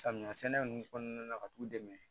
Samiya sɛnɛ ninnu kɔnɔna na ka t'u dɛmɛ